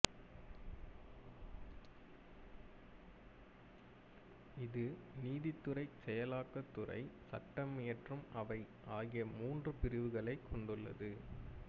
இது நீதித் துறை செயலாக்கத் துறை சட்டமியற்றும் அவை ஆகிய மூன்று பிரிவுகளைக் கொண்டது